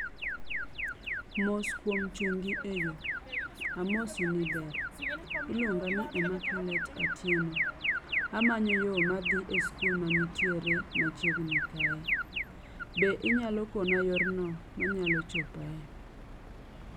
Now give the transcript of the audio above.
Mos kuom chungi eyo. Amosi ni ber, iluonga ni Emmaculate Atieno. Amanyo yoo madhi e skul mantiere machiegni kae. Be inyalo kona yorno manyalo chopae.